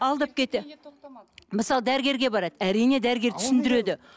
алдап кетті мысалы дәрігерге барады әрине дәрігер түсіндіреді